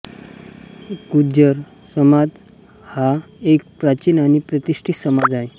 गुर्जर समाज हा एक प्राचीन आणि प्रतिष्ठित समाज आहे